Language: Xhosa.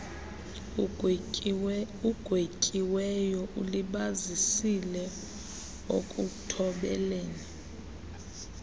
ugwetyiweyo ulibazisile ekuthobeleni